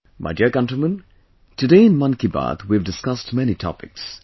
My dear countrymen, today in 'Mann Ki Baat' we have discussed many topics